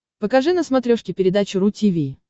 покажи на смотрешке передачу ру ти ви